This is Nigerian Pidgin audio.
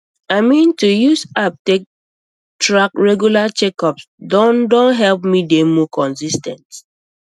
i mean to use app take track regular checkups don don help me dey more consis ten t